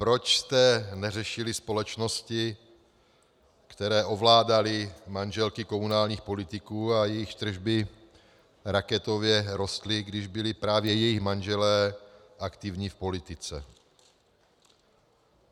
Proč jste neřešili společnosti, které ovládaly manželky komunálních politiků a jejichž tržby raketově rostly, když byli právě jejich manželé aktivní v politice?